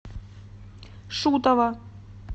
шутова